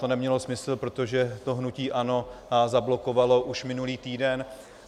To nemělo smysl, protože to hnutí ANO zablokovalo už minulý týden.